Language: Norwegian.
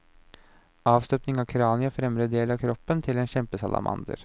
Avstøpning av kraniet og fremre del av kroppen til en kjempesalamander.